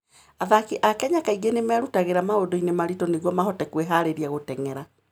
Athaki a Kenya kaingĩ nĩ merutagĩra maũndũ-inĩ maritũ nĩguo mahote kwĩhaarĩria gũteng'era.